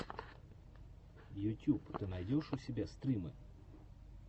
ютюб ты найдешь у себя стримы